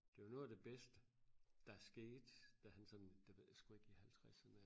det var noget af det bedste der skete da han sådan det ved jeg sku ikke i halvtreserne